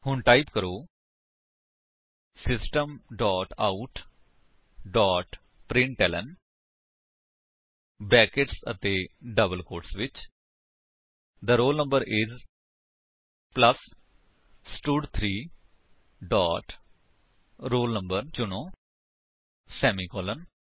ਹੁਣ ਟਾਈਪ ਕਰੋ system dot out dot println brackets ਅਤੇ ਡਬਲ ਕੋਟਸ ਵਿੱਚ the roll no is plus ਸਟਡ3 ਡੋਟ roll no ਚੁਣੋ ਸੇਮੀਕਾਲਨ